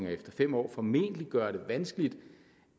efter fem år formentlig gøre det vanskeligt